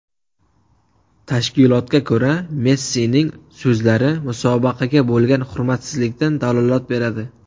Tashkilotga ko‘ra, Messining so‘zlari musobaqaga bo‘lgan hurmatsizlikdan dalolat beradi.